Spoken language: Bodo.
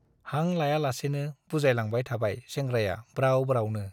हां लायालासेनो बुजायलांबाय थाबाय सेंग्राया ब्राव ब्रावनो ।